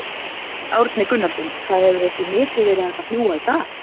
Árni Gunnarsson, það hefur ekki mikið verið hægt að fljúga í dag?